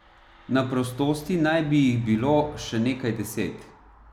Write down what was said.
Na prostosti naj bi jih bilo še nekaj deset.